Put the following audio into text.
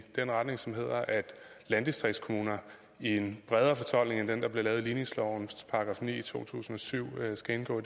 den retning som hedder at landdistriktskommuner i en bredere fortolkning end den der blev lavet i ligningslovens § ni i to tusind og syv skal indgå